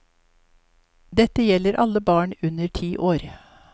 Dette gjelder alle barn under ti år.